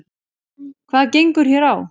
Hvað gengur hér á?